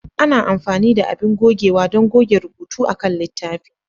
Ana amfani da abin gogewa don goge rubutu akan littafi.